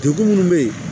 Degun minnu bɛ yen